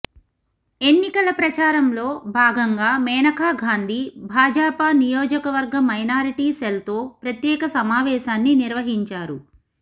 ఎన్నికల ప్రచారంలో భాగంగా మేనకాగాంధీ భాజపా నియోజకవర్గ మైనారిటీ సెల్తో ప్రత్యేక సమావేశాన్ని నిర్వహించారు